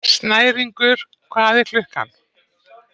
Snæringur, hvað er klukkan?